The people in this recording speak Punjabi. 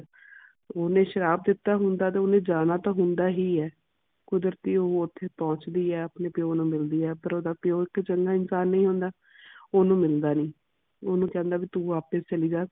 ਓਹਨੇ ਸ਼ਰਾਪ ਦਿੱਤਾ ਹੁੰਦਾ ਤੇ ਓਹਨੇ ਜਾਣਾ ਹੁੰਦਾ ਹੀ ਹੈ। ਕੁਦਰਤੀ ਉਹ ਓਥੇ ਪੁੱਛਦੀ ਹੈ ਆਪਣੇ ਪਿਓ ਨੂੰ ਮਿਲਦੀ ਹੈ ਪਰ ਓਹਦਾ ਪਿਊ ਇਕ ਚੰਗਾ ਇਨਸਾਨ ਨਹੀਂ ਹੁੰਦਾ। ਉਹ ਓਹਨੂੰ ਮਿਲਦਾ ਨਹੀਂ। ਓਹਨੂੰ ਕਹਿੰਦਾ ਵੀ ਤੂੰ ਵਾਪਸ ਚੱਲੀ ਜਾ।